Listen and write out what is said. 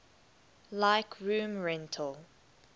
like room rental